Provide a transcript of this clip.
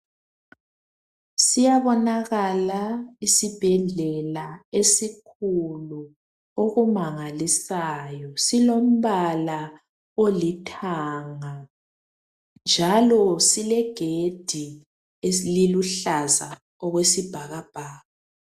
Siyabonakala isibhedlela esikhulu okumangalisayo silombala olithanga njalo silegedi eliluhlaza okwesibhakabhaka.